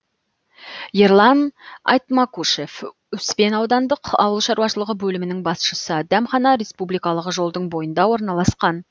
ерлан айтмакушев успен аудандық ауыл шаруашылығы бөлімінің басшысы дәмхана республикалық жолдың бойында орналасқан